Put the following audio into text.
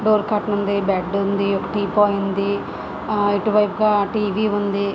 Door cartoon ఉంది. Bed ఉంది. ఒక టీపాయ్ ఉంది. ఆ ఇటు వైపుగా టీవీ ఉంది